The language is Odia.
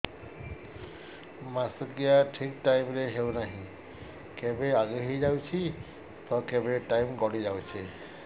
ମାସିକିଆ ଠିକ ଟାଇମ ରେ ହେଉନାହଁ କେବେ ଆଗେ ହେଇଯାଉଛି ତ କେବେ ଟାଇମ ଗଡି ଯାଉଛି